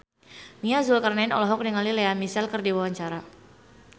Nia Zulkarnaen olohok ningali Lea Michele keur diwawancara